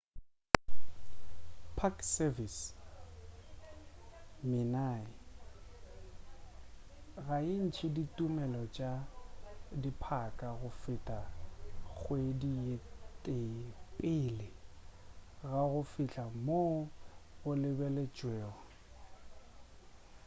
park service minae ga e ntše ditumelelo tša diphaka go feta kgwedi ye tee pele ga go fihla goo go lebeletšwego